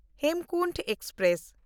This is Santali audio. ᱦᱮᱢᱠᱩᱱᱴ ᱮᱠᱥᱯᱨᱮᱥ